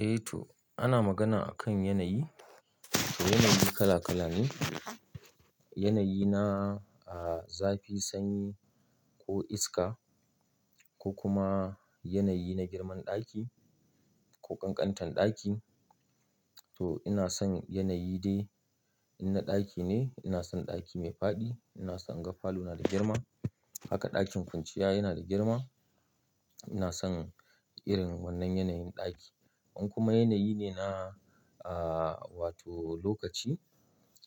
Eh to ana magana akan yanayi, to yanayi kala kala ne, yanayi na, ah, zafi, sanyi ko iska ko kuma yanayi na girman ɗaki ko kankantan ɗaki. To ina son yanayi dai in na ɗaki ne ina son ɗaki mai faɗi, ina son gafalu na da girma, haka ɗakin kwanciya yana da girma. Ina son irin wannan yanayin ɗaki. In kuma yanayi ne na, ah, wato lokaci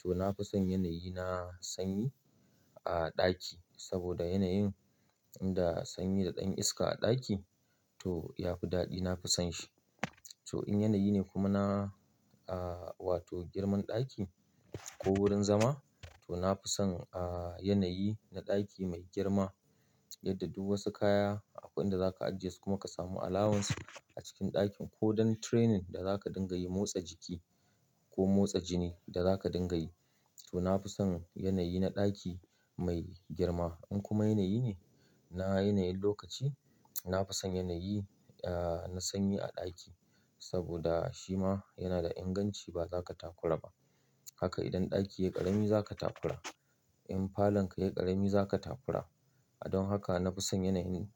to na fi son yanayi na sanyi a ɗaki saboda yanayin inda sanyi da ɗanyin iska a ɗaki to ya fi daɗi na fi son shi. To in yanayi ne kuma na, ah, wato girman ɗaki ko wurin zama to na fi son, ah, yanayi na ɗaki mai girma yadda duk wasu kaya a wurin da zaka ajiye su kuma ka samu alawun su a cikin ɗakin ko don training da zaka dinga yi motsa jiki ko motsa jini da zaka dinga yi to na fi son yanayi na ɗaki mai girma. In kuma yanayi ne na yanayin lokaci na fi son yanayi, ah, na sanyi a ɗaki saboda shi ma yana da inganci ba za ka takura ba. Haka idan ɗaki yayi ƙarami za ka takura, in falon ka yayi ƙarami za ka takura. Don haka na fi son yanayin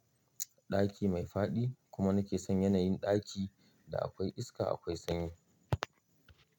ɗaki mai faɗi kuma na ke son yanayin ɗaki da akwai iska akwai sanyi.